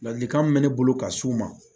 Ladilikan min mɛ ne bolo ka s'u ma